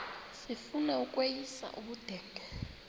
sifuna ukweyis ubudenge